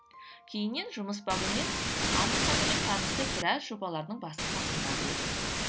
кейіннен жұмыс бабымен анна ханыммен танысып біраз жобалардың басы қасында болдық